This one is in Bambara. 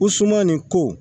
U suman nin ko